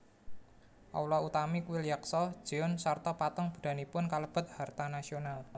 Aula utami kuil Yaksa jeon sarta patung Buddhanipun kalebet harta nasional